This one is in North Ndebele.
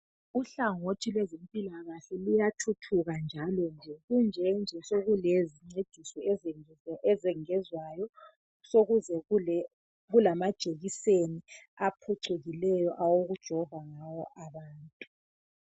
Uhlangothi lwezempilakahle luyathuthuka njalo nje sekulezincediso ezengezwayo sekulamajekiseni aphucukileyo awokujova ngawo abantu.